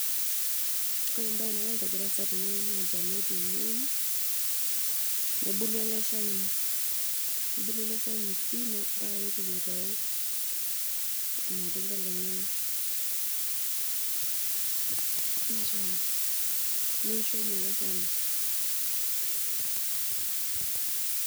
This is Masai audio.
Ore embae nagira adol easa tenewueji naa olchani otuunoki, nebulu eleshani nebulu pii, nebulu pii ambka nitoki aitau irmatunda lenyenak, nitau neisho ninye eleshani.